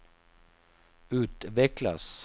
utvecklas